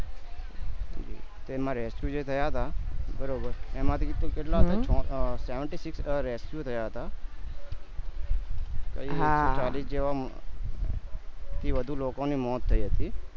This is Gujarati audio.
તેમાં rescue જે થયા હતા બરોબર એમાંથી પણ કેટલા seventy six rescue થયા હતા ચાલી જેવા થી વધુ લોકો ને મોત થય હતી